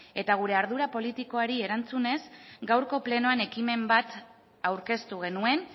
eta gure ardura politikoari erantzunez gaurko plenoan ekimen aurkeztu genuen